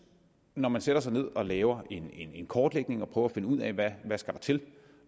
når man sætter sig ned og laver en en kortlægning og prøver at finde ud af hvad der skal til